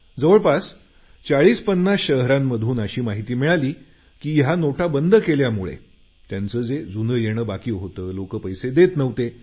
जवळपास 4050 शहरांमधून अशी माहिती मिळाली की या नोटा बंद केल्यामुळे त्यांचं जे जुनं येणं बाकीहोतं लोक पैसे देत नव्हते